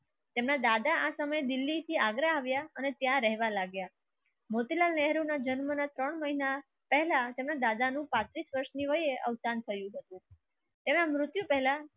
તમે દિલ્હીથી આગળ આવ્યા. અને ત્યાં રહેવા લાગ્યા મોતિલાલ નહેરુ ના જન્મ ના ત્રણ મહિના પહેલા તેમના દાદા નું પાંત્રીસ વર્ષની હોય એ અવતાર થયું હતું. એવા મૃત્યુ પહેલા